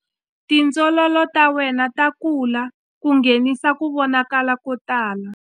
Tindzololo ta wena ta kula ku nghenisa ku vonakala ko tala.